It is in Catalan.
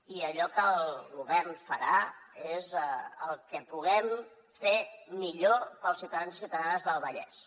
i allò que el govern farà és el que puguem fer millor per als ciutadans i ciutadanes del vallès